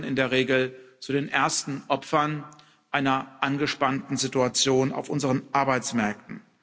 Die gehören in der Regel zu den ersten Opfern einer angespannten Situation auf unseren Arbeitsmärkten.